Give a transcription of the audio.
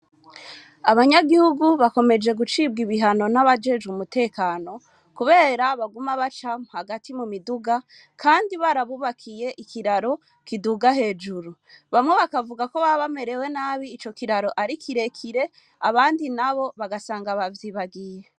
Abanyagihugu bakomeje gucibwa ibihano n'abajejwe umutekano, kubera baguma baca hagati mu miduga, kandi barabubakiye ikiraro kiduga hejuru. Bamwe bakavuga ko baba bamerewe nabi, ico iraro ari kirekire, abandi nabo bagasanga bavyibagiye.